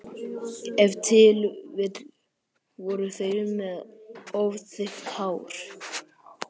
Ef til vill voru þeir með of þykkt hár.